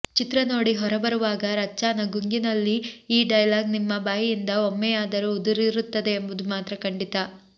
ಚಿತ್ರ ನೋಡಿ ಹೊರಬರುವಾಗ ರಚ್ಚಾನ ಗುಂಗಿನಲ್ಲಿ ಈ ಡೈಲಾಗ್ ನಿಮ್ಮ ಬಾಯಿಂದ ಒಮ್ಮೆಂುುಾದರೂ ಉದುರಿರುತ್ತದೆ ಎಂಬುದು ಮಾತ್ರಾ ಖಂಡಿತ